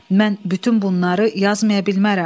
Mən bütün bunları yazmaya bilmərəm.